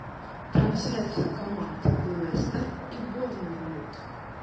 трансляция команд лестер и борнмут